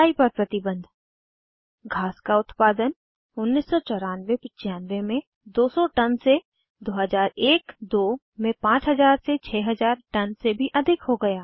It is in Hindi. चराई पर प्रतिबन्ध घास का उत्पादन 1994 95 में 200 टन से 2001 2002 में 5000 6000 टन से भी अधिक हो गया